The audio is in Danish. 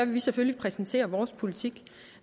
vi selvfølgelig præsentere vores politik